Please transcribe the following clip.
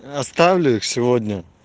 оставлю сегодня